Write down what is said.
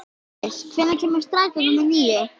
Daríus, hvenær kemur strætó númer níu?